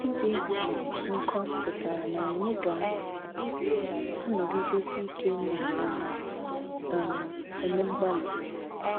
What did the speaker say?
Ịdị um nkọ pụtara na anyị ga - anọgidesi ike na um - um eme mgbalị.